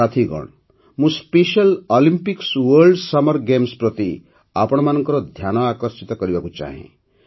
ସାଥୀଗଣ ମୁଁ special Olympics world summer games ପ୍ରତି ଆପଣମାନଙ୍କ ଧ୍ୟାନ ଆକର୍ଷିତ କରିବାକୁ ଚାହେଁ